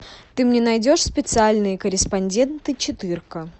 ты мне найдешь специальные корреспонденты четыре ка